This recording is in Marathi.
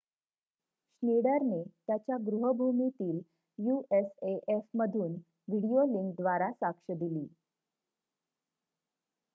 श्नीडरने त्याच्या गृह्भूमीतील युएसएएफ मधून व्हिडीओ लिंक द्वारा साक्ष दिली